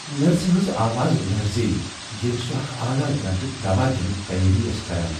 نرسہِ ہنز آواز لرزییہِ ییلہِ سو٘ اكھ اعلی درجُك دواہ دِٕنچ تیٲری کران ٲس ۔